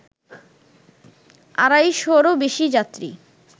আড়াইশরও বেশি যাত্রী